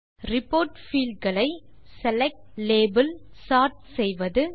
report field களை select label sort செய்வது